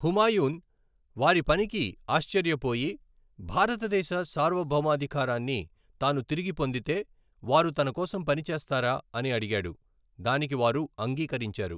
హుమాయున్ వారి పనికి ఆశ్చర్యపోయి, భారతదేశ సార్వభౌమాధికారాన్ని తాను తిరిగి పొందితే, వారు తన కోసం పని చేస్తారా అని అడిగాడు, దానికి వారు అంగీకరించారు.